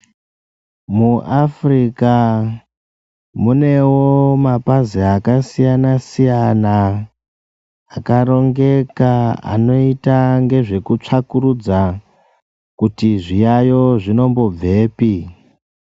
MuAfrica munewo mapazi akasiyana siyana akarongeka anoita ngezvekutsvakurudza kuti zviyayo zvinombobvepi